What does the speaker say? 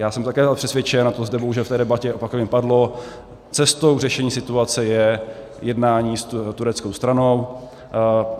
Já jsem také přesvědčen, a to zde bohužel v té debatě opakovaně padlo - cestou k řešení situace je jednání s tureckou stranou.